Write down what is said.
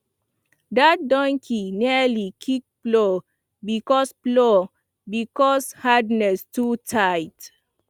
that donkey nearly kick plow because plow because harness too tight